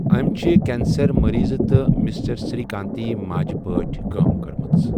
أمۍ چھِ کینسر مٔریٖضہٕ تہٕ مسٹر سری کانتٕنۍ ماجہِ پٲٹھۍ کٲم کٔرمٕژ۔